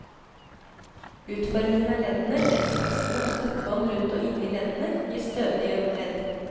Utformingen av leddene, leddkapslene og støttebånd rundt og inne i leddene, gir stødige ledd.